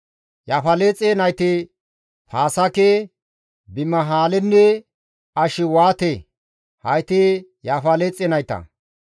Yaafaleexe nayti Paasaake, Bimihaalenne Ashiwaate; hayti Yaafaleexe nayta.